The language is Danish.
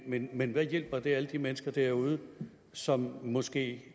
men men hvad hjælper det alle de mennesker derude som måske